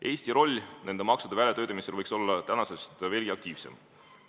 Eesti roll nende maksude väljatöötamisel võiks olla tänasest aktiivsem.